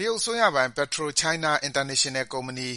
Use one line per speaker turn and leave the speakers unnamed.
တရုတ်အစိုးရပိုင် PetroChina International ကုမ္ပဏီ